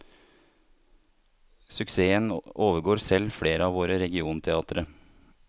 Suksessen overgår selv flere av våre regionteatre.